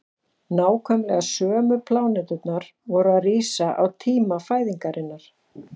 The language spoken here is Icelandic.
nákvæmlega sömu pláneturnar voru að rísa á tíma fæðingarinnar